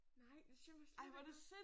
Nej det siger mig slet ikke noget